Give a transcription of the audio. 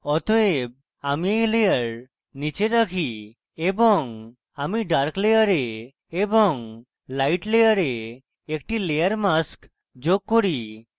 অতএব আমি এই layer নীচে রাখি এবং আমি dark layer এবং light layer একটি layer mask যোগ করি